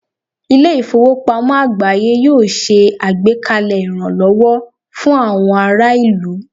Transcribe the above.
Ilé ìfowópamọ́ àgbááyé yóò ṣe àgbékalẹ̀ ìrànlọ́wọ́ fún àwọn ará ìlú